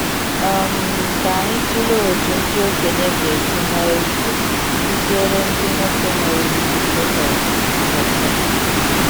um Ka anyị tụlee otu ndị okenye ga esi nwee ike kụziere ndị nwoke nwere ikike um ọzọ.